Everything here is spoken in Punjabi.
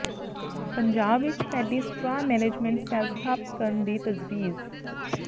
ਪੰਜਾਬ ਵਿੱਚ ਪੈਡੀ ਸਟਰਾਅ ਮੈਨੇਜਮੈਂਟ ਸੈੱਲ ਸਥਾਪਤ ਕਰਨ ਦੀ ਤਜਵੀਜ਼